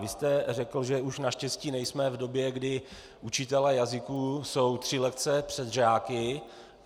Vy jste řekl, že už naštěstí nejsme v době, kdy učitelé jazyků jsou tři lekce před žáky.